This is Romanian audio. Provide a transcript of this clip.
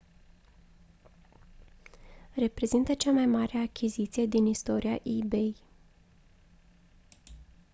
reprezintă cea mai mare achiziție din istoria ebay